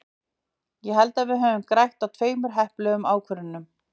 Ég held að við höfum grætt á tveimur heppilegum ákvörðunum.